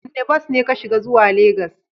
Wanda bas ne ka shiga zuwa Legas?